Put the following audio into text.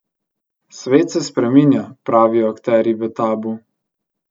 Svet se spreminja, pravijo akterji v Tabu.